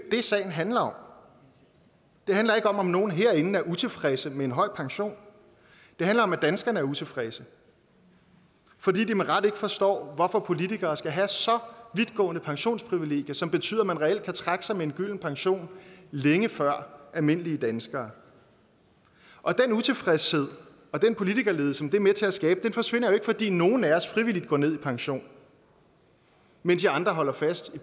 det sagen handler om det handler ikke om om nogle herinde er utilfredse med en høj pension det handler om at danskerne er utilfredse fordi de med rette ikke forstår hvorfor politikere skal have så vidtgående pensionsprivilegier som betyder at man reelt kan trække sig med en gylden pension længe før almindelige danskere og den utilfredshed og den politikerlede som det er med til at skabe forsvinder jo ikke fordi nogle af os frivilligt går ned i pension mens i andre holder fast